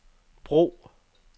brug